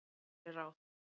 Ég geri ráð